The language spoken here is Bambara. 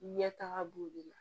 Ɲɛtaga b'o de la